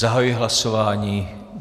Zahajuji hlasování.